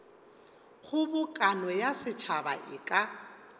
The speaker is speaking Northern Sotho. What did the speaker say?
kgobokano ya setšhaba e ka